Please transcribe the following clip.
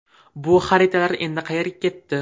Bu xaritalar endi qayerga ketdi?